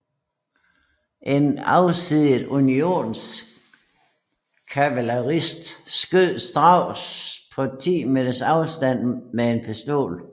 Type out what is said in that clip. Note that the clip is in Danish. En afsiddet Unionskavalerist skød Stuart på 10 meters afstand med en pistol